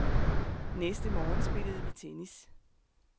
Næste morgen spillede vi tennis.